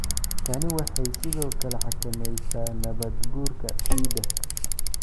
Tani waxay sidoo kale xakameysaa nabaad guurka ciidda.